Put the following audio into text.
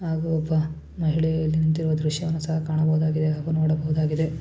ಹಾಗೂ ಒಬ್ಬ ಮಹಿಳೆ ನಿಂತಿರುವ ದೃಶ್ಯವನ್ನು ಸಹ ಕಾಣಬಹುದು ಹಾಗು ನೋಡಬಹುದಾಗಿದೆ.